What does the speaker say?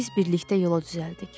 Biz birlikdə yola düzəldik.